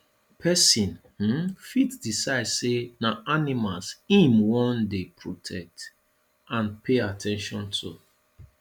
persin um fit decide say na animals im won de protect and pay at ten tion to